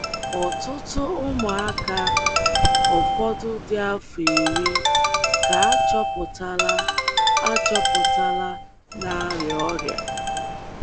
Ọtụtụ ụmụaka, ụfọdụ dị afọ iri, ka achọpụtala achọpụtala na arịa ọrịa.